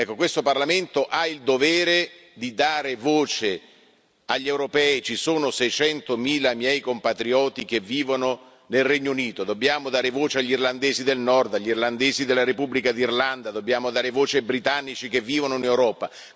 Questo Parlamento ha il dovere di dare voce agli europei. Ci sono 600 mila miei compatrioti che vivono nel Regno Unito, dobbiamo dare voce agli irlandesi del Nord, agli irlandesi della Repubblica d'Irlanda, dobbiamo dare voce ai britannici che vivono in Europa.